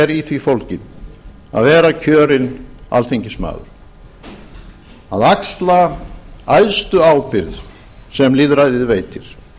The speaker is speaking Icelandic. er í því fólginn að vera kjörinn alþingismaður að axla æðstu ábyrgð sem lýðræðið veitir